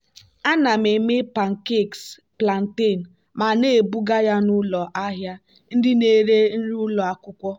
ana m eme pancakes plantain ma na-ebuga ya n'ụlọ ahịa ndị na-eri nri ụlọ akwụkwọ.